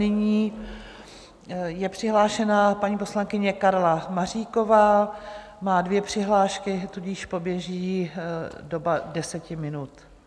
Nyní je přihlášena paní poslankyně Karla Maříková, má dvě přihlášky, tudíž poběží doba deseti minut.